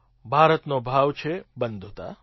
ભારતનો ભાવ છે બંધુતા